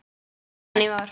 Síðan í vor.